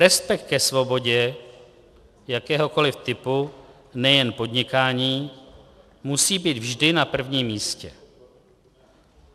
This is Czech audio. Respekt ke svobodě jakéhokoliv typu, nejen podnikání, musí být vždy na prvním místě.